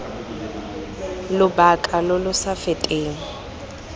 lobaka lo lo sa feteng